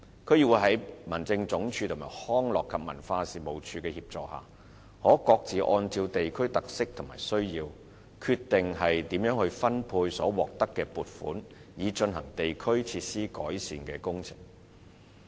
區議會在民政總署和康樂及文化事務署的協助下，可各自按照地區的特色和需要，決定如何分配所獲得的撥款，以進行地區設施的改善工程。